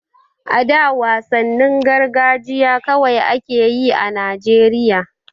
A da wasannin gargajiya kawai a ke yi a Najeriya.